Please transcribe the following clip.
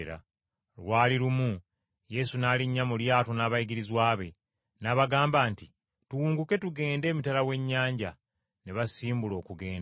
Lwali lumu Yesu n’alinnya mu lyato n’abayigirizwa be, n’abagamba nti, “Tuwunguke tulage emitala w’ennyanja.” Ne basimbula okugenda.